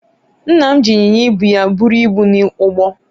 nna m ji inyinya ibu ya buru ibu n'ugbo